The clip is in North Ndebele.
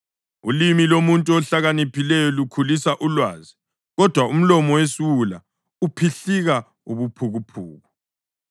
Ulimi lomuntu ohlakaniphileyo lukhulisa ulwazi, kodwa umlomo wesiwula uphihlika ubuphukuphuku.